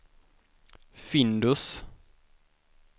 Findus